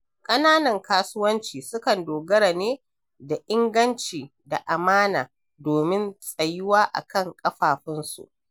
Ƙananan kasuwanci sukan dogara ne da inganci da amana domin tsayuwa a kan kafafunsu.